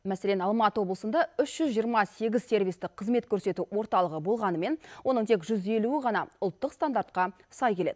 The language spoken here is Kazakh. мәселен алматы облысында үш жүз жиырма сегіз сервистік қызмет көрсету орталығы болғанымен оның тек жүз елуі ғана ұлттық стандартқа сай келеді